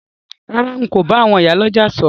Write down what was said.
Rárá, n ko ba àwon ìyá lójà sòrò